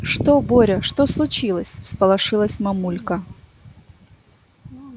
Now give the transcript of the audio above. что боря что случилось всполошилась мамулька